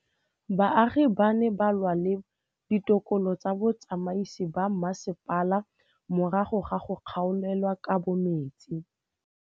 Baagi ba ne ba lwa le ditokolo tsa botsamaisi ba mmasepala morago ga go gaolelwa kabo metsi